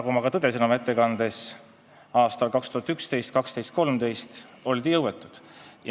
Aga nagu ma tõdesin oma ettekandes, aastail 2011, 2012 ja 2013 oldi jõuetud.